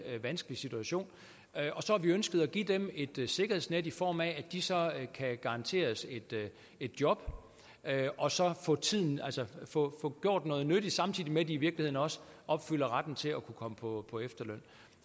vanskelig situation og så har vi ønsket at give dem et sikkerhedsnet i form af at de så kan garanteres et job og så få gjort noget nyttigt samtidig med at de i virkeligheden også opfylder retten til at kunne komme på efterløn